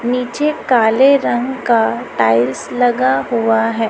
नीचे काले रंग का टाइल्स लगा हुआ है।